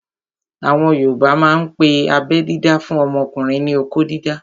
Àwọn yoòbá máa n pe abẹ́ dídá fún ọmọkùnrin ní "okó dídá"